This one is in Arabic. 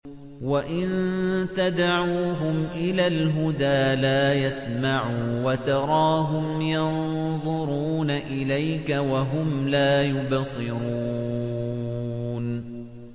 وَإِن تَدْعُوهُمْ إِلَى الْهُدَىٰ لَا يَسْمَعُوا ۖ وَتَرَاهُمْ يَنظُرُونَ إِلَيْكَ وَهُمْ لَا يُبْصِرُونَ